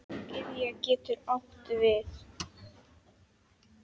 Gyðja getur átt við